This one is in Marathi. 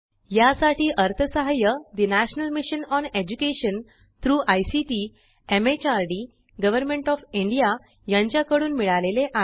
यासाठी अर्थसहाय्य ठे national mission on education through ICT MHRD government of India यांच्या कडून मिळाले आहे